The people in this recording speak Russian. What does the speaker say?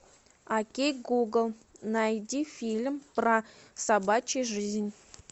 окей гугл найди фильм про собачью жизнь